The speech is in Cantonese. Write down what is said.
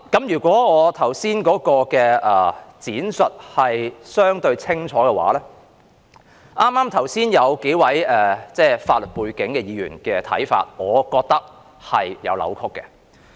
如果我剛才的闡述是相對清楚的話，對於剛才數位具法律背景的議員提出的看法，我覺得是有扭曲的。